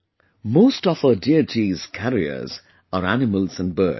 Most of our deities' carriers are animals and birds